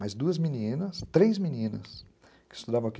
Mas duas meninas, três meninas que estudavam aqui.